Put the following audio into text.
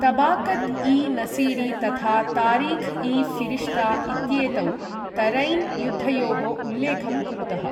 तबाकत् इ नसीरी तथा तारिख् इ ऴिरिष्ता इत्येतौ तरैन् युद्धयोः उल्लेखं कुरुतः।